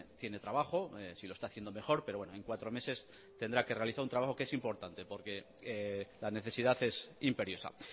tiene trabajo si lo está haciendo mejor pero bueno en cuatro meses tendrá que realizar un trabajo que es importante porque la necesidad es imperiosa